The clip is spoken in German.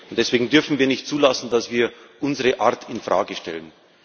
Deswegen dürfen wir nicht zulassen, dass wir unsere Art in Frage stellen.